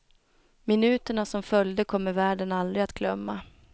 Minuterna som följde kommer världen aldrig att glömma.